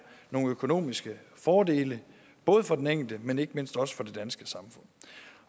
nogle økonomiske fordele både for den enkelte men ikke mindst også for det danske samfund